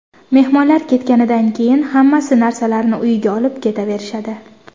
Mehmonlar ketganidan keyin hammasi narsalarini uyiga olib ketaverishadi.